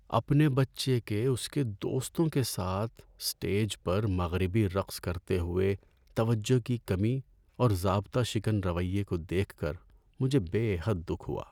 اپنے بچے کے اس کے دوستوں کے ساتھ اسٹیج پر مغربی رقص کرتے ہوئے توجہ کی کمی اور ضابطہ شکن رویے کو دیکھ کر مجھے بے حد دکھ ہوا۔